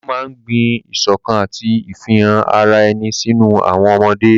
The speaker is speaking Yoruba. Ijó máa ń gbin ìṣọ̀kan àti ìfihàn ara ẹni sínú àwọn ọmọdé.